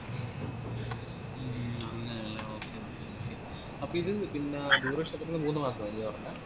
ഉം അങ്ങനല്ലേ okay okay okay അപ്പോത് പിന്നാ duration എത്രയാ മൂന്നുമാസം മതിയോ